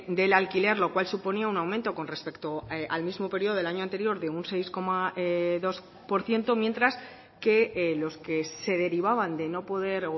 del alquiler lo cual suponía un aumento con respecto al mismo periodo del año anterior de un seis coma dos por ciento mientras que los que se derivaban de no poder